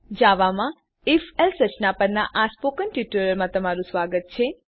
જાવામાં if else રચના પરનાં સ્પોકન ટ્યુટોરીયલમાં સ્વાગત છે